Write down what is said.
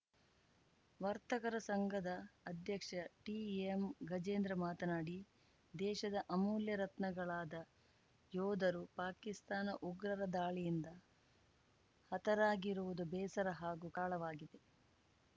ವರ್ತಕರ ಸಂಘದ ಅಧ್ಯಕ್ಷ ಟಿಎಂ ಗಜೇಂದ್ರ ಮಾತನಾಡಿ ದೇಶದ ಅಮೂಲ್ಯ ರತ್ನಗಳಾದ ಯೋಧರು ಪಾಕಿಸ್ತಾನ ಉಗ್ರರ ದಾಳಿಯಿಂದ ಹತರಾಗಿರುವುದು ಬೇಸರ ಹಾಗೂ ಕಾಳವಾಗಿದೆ